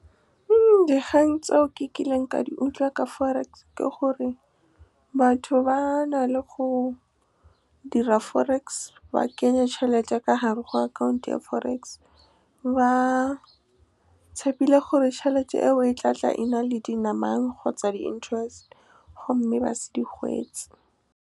Dikgang tseo ke kileng ka di utlwa ka forex ke gore batho ba na le go dira forex, ba kenye tšhelete ya ka hare ho akhaonto ya forex, ba tshepile gore tšhelete eo e tla tla e na le dinamane kgotsa di-interest, gomme ba se di hwetše. Dikgang tseo ke kileng ka di utlwa ka forex ke gore batho ba na le go dira forex, ba kenye tšhelete ya ka hare ho akhaonto ya forex, ba tshepile gore tšhelete eo e tla tla e na le dinamane kgotsa di-interest, gomme ba se di hwetše.